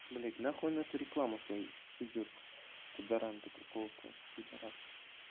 блять нахуй она ту рекламу свою суёт туда ранта какого-то пидораса